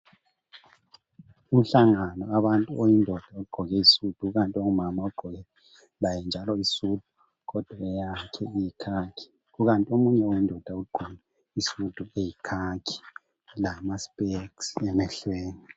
Umhlangano wabantu oyindoda ogqoke isudu ikanti ongumama ogqoke laye njalo isudu kodwa eyakhe iyikhakhi kukanti omunye wendoda ugqoke isudu eyikhakhi lama sipeksi emehlweni.